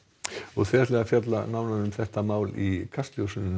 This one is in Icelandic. þið ætlið að fjalla nánar um þetta mál í Kastljósi